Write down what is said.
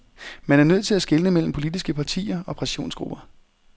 Man er nødt til at skelne mellem politiske partier og pressionsgrupper.